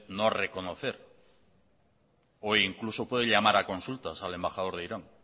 no reconocer o incluso puede llamar a consultas al embajador de irán